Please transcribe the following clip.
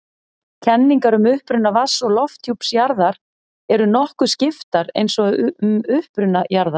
Kenningar um uppruna vatns- og lofthjúps jarðar eru nokkuð skiptar eins og um uppruna jarðar.